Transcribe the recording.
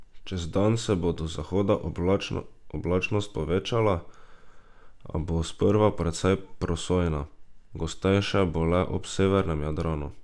Čez dan se bo do zahoda oblačnost povečala, a bo sprva precej prosojna, gostejša bo le ob severnem Jadranu.